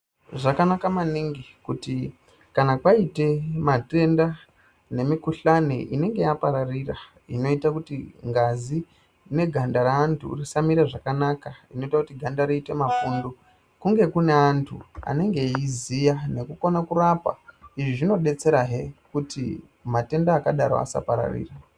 Zvakanakak maningi kuti kana kwaite matenda nemikuhlani inenge yapararira inoita kuti ngazi neganda reantu risamira zvakanaka inoita ganda riite mapundu kunge kune antu anenge eiziya nekukona kurapa izvi zvinodesterazve kuti matenda akadaro asapararira